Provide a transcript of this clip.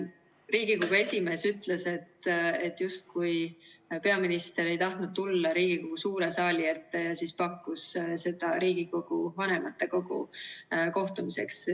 Riigikogu esimees ütles, et peaminister justkui ei tahtnud tulla Riigikogu suure saali ette ja pakkus siis seda Riigikogu vanematekogu kohtumiseks.